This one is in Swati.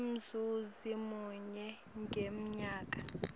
umzuzi munye ngemnyaka